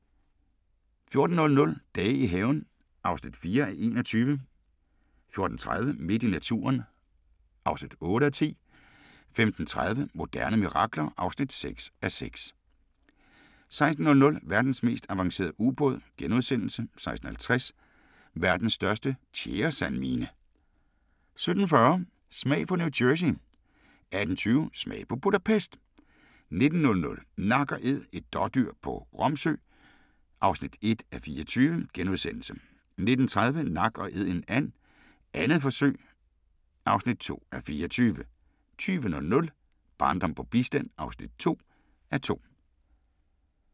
14:00: Dage i haven (4:21) 14:30: Midt i naturen (8:10) 15:30: Moderne mirakler (6:6) 16:00: Verdens mest avancerede ubåd * 16:50: Verdens største tjæresandmine 17:40: Smag på New Jersey 18:20: Smag på Budapest 19:00: Nak & æd – et dådyr på Romsø (1:24)* 19:30: Nak & Æd en and - 2. forsøg (2:24) 20:00: Barndom på bistand (2:2)